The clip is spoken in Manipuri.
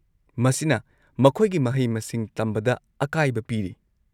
ꯃꯁꯤꯅ ꯃꯈꯣꯏꯒꯤ ꯃꯍꯩ-ꯃꯁꯤꯡ ꯇꯝꯕꯗ ꯑꯀꯥꯏꯕ ꯄꯤꯔꯤ꯫